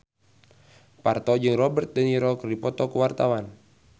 Parto jeung Robert de Niro keur dipoto ku wartawan